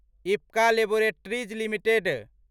Ipca laboratories limited